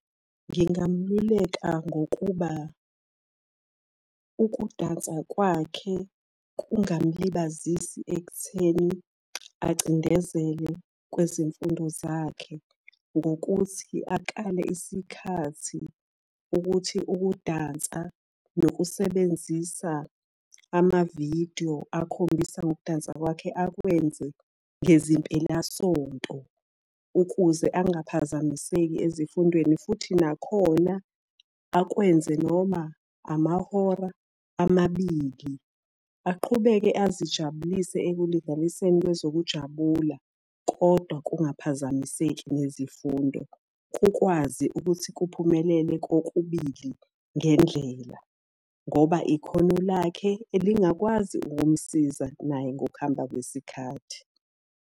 Ngingamululeka ngokuba, ukudansa kwakhe kungamulibazisi ekutheni acindezele kwezemfundo zakhe ngokuthi akale isikhathi ukuthi ukudansa nokusebenzisa amavidiyo akhombisa ngokudansa kwakhe akwenze ngezimpelasonto. Ukuze angaphazamiseki ezifundweni futhi nakhona akwenze noma amahora amabili. Aqhubeke azijabulise ekulinganiseni kwezokujabula, kodwa kungaphazamiseki nezifundo. Kukwazi ukuthi kuphumelele kokubili ngendlela. Ngoba ikhono lakhe elingakwazi ukumusiza naye ngokuhamba kwesikhathi.